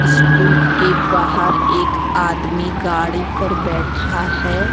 School के बाहर एक आदमी गाड़ी पर बैठा है।